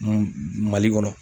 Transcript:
Mali kɔnɔ.